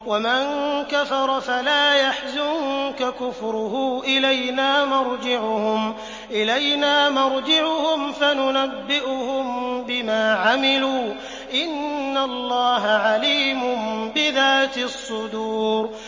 وَمَن كَفَرَ فَلَا يَحْزُنكَ كُفْرُهُ ۚ إِلَيْنَا مَرْجِعُهُمْ فَنُنَبِّئُهُم بِمَا عَمِلُوا ۚ إِنَّ اللَّهَ عَلِيمٌ بِذَاتِ الصُّدُورِ